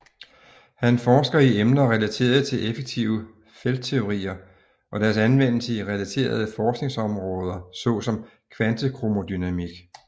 Han forsker i emner relateret til effektive feltteorier og deres anvendelse i relaterede forskningsområdersom såsom kvantekromodynamik